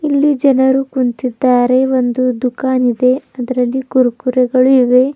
ಈ ಜನರು ಕುಂತಿದ್ದಾರೆ ಒಂದು ದುಖನ್ ಇದೆ ಅದರಲ್ಲಿ ಕುರುಕುರೆಗಳು ಇವೆ.